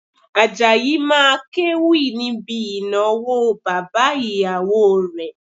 Àjàyí máa kéwì níbi ìnáwó bàbá ìyàwó rẹ̀